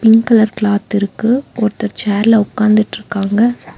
Pink colour cloth இருக்கு ஒருத்தர் சேர்ல உக்காந்துட்ருக்காங்க.